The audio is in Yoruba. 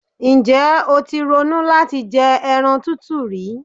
Ǹjẹ́́ o ti ronú láti jẹ ẹran tútù rí?